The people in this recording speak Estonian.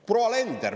Proua Alender …